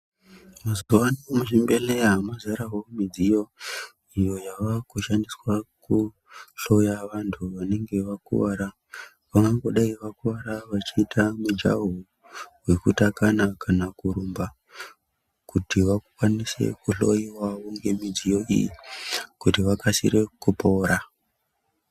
Mazuwaano muzvibhedhlera mazarawo midziyo iyo yavakushandiswa kuhloya vantu vanenge vakuwara , vangangodai vakuwara vachiita mujaho wekutakana kana kurumba kuti vakwanise kuhloiwawo nemidziyo iyi kuti vakasire kupora.